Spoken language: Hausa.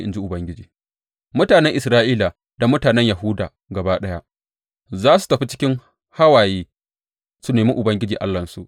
in ji Ubangiji, mutanen Isra’ila da mutanen Yahuda gaba ɗaya za su tafi cikin hawaye su nemi Ubangiji Allahnsu.